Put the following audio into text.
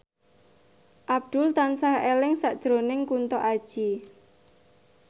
Abdul tansah eling sakjroning Kunto Aji